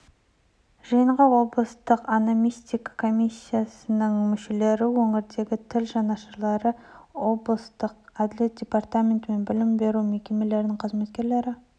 жиынға облыстық ономастика комиссиясының мүшелері өңірдегі тіл жанашырлары облыстық әділет департаменті мен білім беру мекемелерінің қызметкерлері